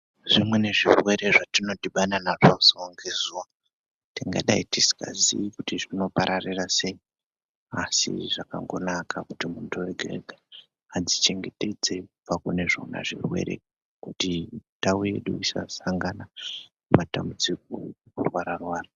Zvimweni zvirwere zvatinodhibana nazvo zuwa ngezuwa tingadai tisingazivi kuti zvinopararira sei. Asi zvakangonaka kuti muntu ega ega adzichengetedze kubva kune zvona zvirwere kuti ndau yedu isasangana matambudziko kurwara rwara.